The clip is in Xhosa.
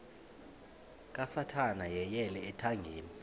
kasathana yeyele ethangeni